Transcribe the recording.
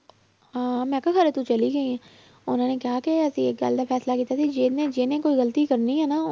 ਅਹ ਮੈਂ ਕਿਹਾ ਤੂੰ ਚਲੀ ਗਈ ਹੈ ਉਹਨਾਂ ਨੇ ਕਿਹਾ ਕਿ ਅਸੀਂ ਇੱਕ ਗੱਲ ਦਾ ਫੈਸਲਾ ਕੀਤਾ ਸੀ ਜਿਹਨੇ ਜਿਹਨੇ ਕੋਈ ਗ਼ਲਤੀ ਕਰਨੀ ਹੈ ਨਾ,